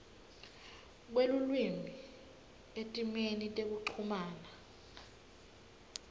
kwelulwimi etimeni tekuchumana